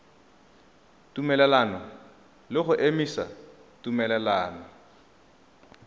tumelelano le go emisa tumelelano